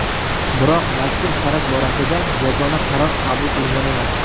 Biroq mazkur faraz borasida yagona qaror qabul qilingan emas.